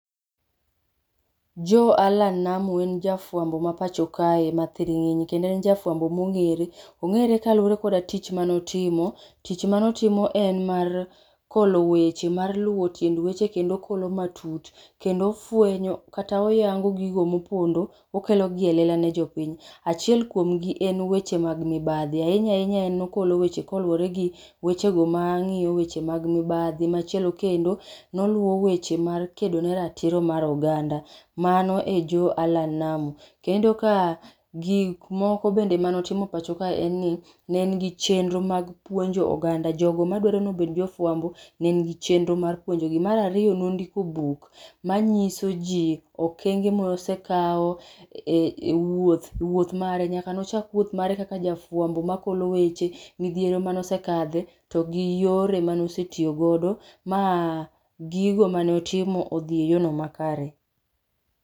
Joe Allan Namu en jafuambo mapacho kae mathiringinyi kendo en jafuambo mongere, ongere kod tich manotimo, tich mane otimo en mar kolo weche mar luwo tiend weche kendo okolo matut kendo ofwenyo kata oyango gigo mopondo okelo gi e lela ne jopiny. Achiel kuom gi en weche mag mibadhi, ahinya ahinya en nokolo weche koluore gi wechego mangiyo weche mag mibadhi, machielo kendo noluwo weche mar kedo ne ratiro mar oganda, mano e Joe Allan Namu. Kendo ka gikmoko bende mane otimo pachokae en ni ne en gi chenro mag puonjo oganda, jogo madwaro ni obed jofuambo ne en gi chenro mar puonjo gi. Mar ariyo nondiko buk manyiso ji okenge mosekao e wuoth ,wuoth mare nyaka nochak wuoth mare kaka jafuambo makolo weche, midhiero mane osekadhe kod yore mane osetiyo godo ma gigo mane otimo odhi makare